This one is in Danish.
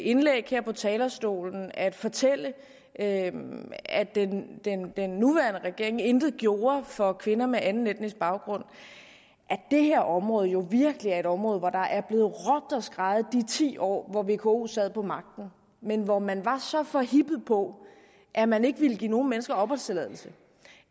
indlæg her på talerstolen at fortælle at den nuværende regering intet har gjort for kvinder med anden etnisk baggrund at det her område jo virkelig er et område hvor der er blevet råbt og skreget i de ti år hvor vko sad på magten men hvor man var så forhippet på at man ikke ville give nogen mennesker opholdstilladelse